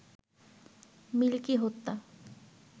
milky হত্যা